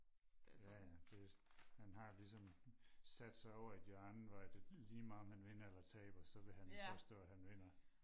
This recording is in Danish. jaja det han har ligesom sat sig over i et hjørne hvor at lige meget om han vinder eller taber så vil han påstå at han vinder